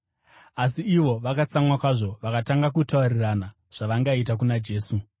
Asi ivo vakatsamwa kwazvo vakatanga kutaurirana zvavangaita kuna Jesu.